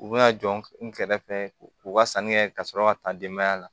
U bɛna jɔ n kɛrɛfɛ u ka sanni kɛ ka sɔrɔ ka taa denbaya la